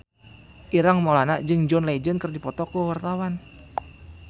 Ireng Maulana jeung John Legend keur dipoto ku wartawan